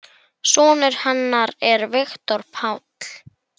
Sonur hennar er Viktor Páll.